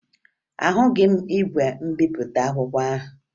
Ahụghị m igwe mbipụta akwụkwọ ahụ